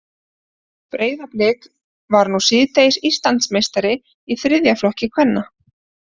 Breiðablik varð nú síðdegis Íslandsmeistari í þriðja flokki kvenna.